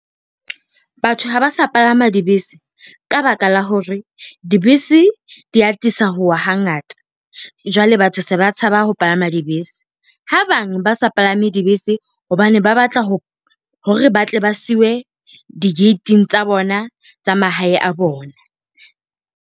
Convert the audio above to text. Batho ha ba sa palama dibese ka baka la hore dibese di atisa ho wa hangata, jwale batho se ba tshaba ho palama dibese. Ha bang ba sa palame dibese, hobane ba batla ho hore ba tle ba siuwe di-gate-ing tsa bona tsa mahae a bona.